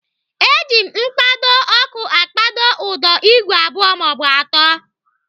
Eji mkpado ọkụ akpado ụdọ igwe abụọ maọbụ atọ.